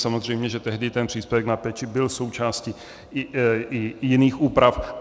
Samozřejmě že tehdy ten příspěvek na péči byl součástí i jiných úprav.